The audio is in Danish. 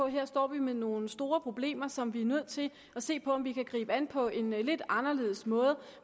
her står med nogle store problemer som vi er nødt til at se på om vi kan gribe an på en lidt anderledes måde